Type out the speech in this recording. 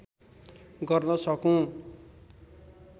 गर्न सकूँ